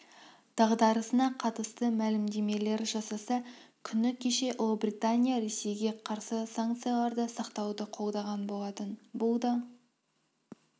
дағдарысына қатысты мәлімдемелер жасаса күні кеше ұлыбритания ресейге қарсы санкцияларды сақтауды қолдаған болатын бұл да